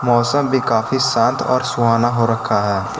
मौसम भी काफी शांत और सुहाना हो रखा है।